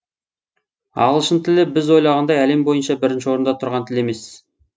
ағылшын тілі біз ойлағандай әлем бойынша бірінші орында тұрған тіл емес